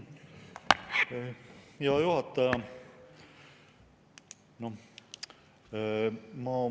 Aitäh, hea juhataja!